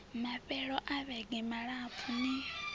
mafhelo a vhege malapfu ni